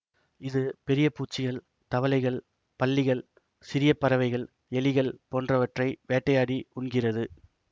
இது பெரிய பூச்சிகள் தவளைகள் பல்லிகள் சிறிய பறவைகள் எலிகள் போன்றவற்றை வேட்டையாடி உண்கிறது